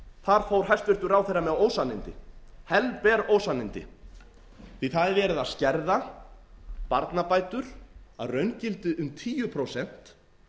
þar fór hæstvirtur ráðherra með ósannindi helber ósannindi því að það er verið að skerða barnabætur að raungildi um tíu prósent